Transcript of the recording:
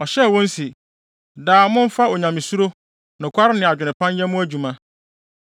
Ɔhyɛɛ wɔn se, “Daa, momfa onyamesuro, nokware ne adwene pa nyɛ mo adwuma.